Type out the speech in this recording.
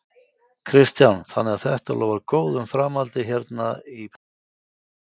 Kristján: Þannig að þetta lofar góðu um framhaldið hérna, hérna í Breiðafirði?